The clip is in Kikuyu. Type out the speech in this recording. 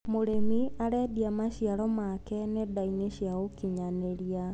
Mũrĩmi arendia maciaro make nendainĩ cia ũkinyanĩria.